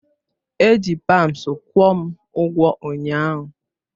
Eji paunds kwụọ m ụgwọ ụnyaahụ.